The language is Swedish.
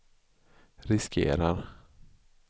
riskerar